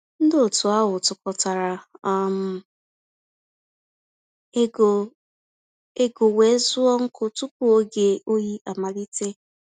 Ndị otu ahụ tụkọtara um égo égo wéé zụọ nkụ tupu oge oyi amalite.